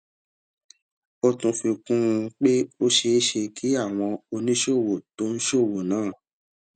ó tún fi kún un pé ó ṣeé ṣe kí àwọn oníṣòwò tó ń ṣòwò náà